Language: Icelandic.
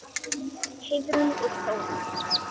Heiðrún og Þórunn.